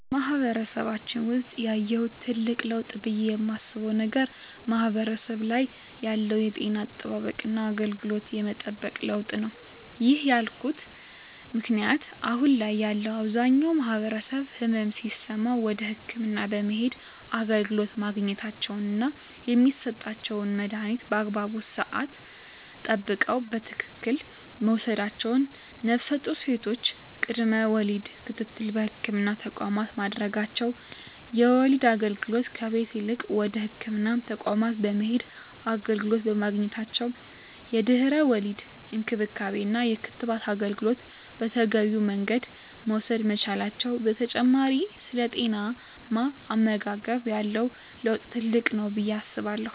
በማህበረሰባችን ውሰጥ ያየሁት ትልቅ ለውጥ ብየ የማስበው ነገር ማህበረሰቡ ላይ ያለው የጤና አጠባበቅና አገልግሎት የመጠቀም ለውጥ ነው። ይህን ያልኩበት ምክንያት አሁን ላይ ያለው አብዛኛው ማህበረሰብ ህመም ሲሰማው ወደ ህክምና በመሄድ አገልግሎት ማግኘታቸውና የሚሰጣቸውን መድሀኒት በአግባቡ ስዓት ጠብቀው በትክክል መውሰዳቸው ነፍሰጡር ሴቶች ቅድመ ወሊድ ክትትል በህክምና ተቋማት ማድረጋቸው የወሊድ አገልግሎት ከቤት ይልቅ ወደ ህክምና ተቋማት በመሄድ አገልግሎት በማግኘታቸው የድህረ ወሊድ እንክብካቤና የክትባት አገልግሎት በተገቢው መንገድ መውሰድ መቻላቸው በተጨማሪ ስለ ጤናማ አመጋገብ ያለው ለውጥ ትልቅ ነው ብየ አስባለሁ።